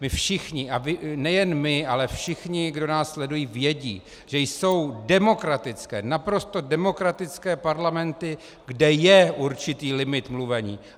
My všichni, nejen my, ale všichni, kdo nás sledují, vědí, že jsou demokratické, naprosto demokratické parlamenty, kde je určitý limit mluvení.